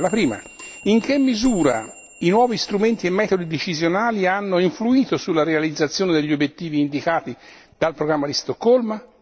La prima in che misura i nuovi strumenti e metodi decisionali hanno influito sulla realizzazione degli obiettivi indicati dal programma di Stoccolma?